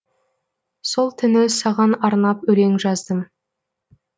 сол түні саған арнап өлең жаздым